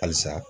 Halisa